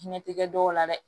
Hinɛ tɛ kɛ dɔw la dɛ